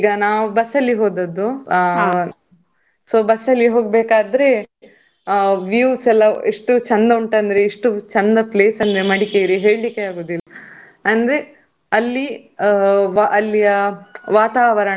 ಈಗ ನಾವು bus ಅಲ್ಲಿ ಹೋದದ್ದು so bus ಅಲ್ಲಿ ಹೋಗ್ಬೇಕಾದ್ರೆ views ಎಲ್ಲಾ ಎಷ್ಟು ಚಂದ ಉಂಟು ಅಂದ್ರೆ ಎಷ್ಟು ಚಂದ place ಅಂದ್ರೆ ಮಡಿಕೇರಿ ಹೇಳಿಕೆ ಆಗುದಿಲ್ಲ. ಅಂದ್ರೆ ಅಲ್ಲಿ ಅಲ್ಲಿಯ ವಾತಾವರಣ.